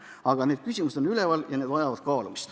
Aga need küsimused on üleval ja need vajavad kaalumist.